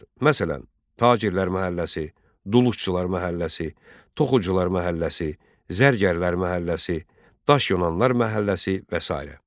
Məsələn, tacirlər məhəlləsi, duluxçular məhəlləsi, toxucular məhəlləsi, zərgərlər məhəlləsi, daşyonanlar məhəlləsi və sairə.